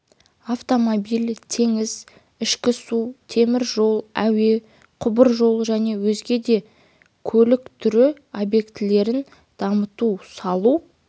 автомобиль теңіз ішкі су темір жол әуе құбыржол және өзге де көлік түрі объектілерін дамыту салу